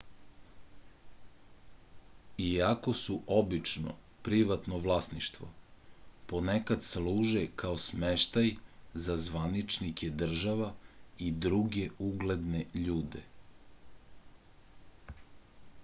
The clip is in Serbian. iako su obično privatno vlasništvo ponekad služe kao smeštaj za zvaničnike država i druge ugledne ljude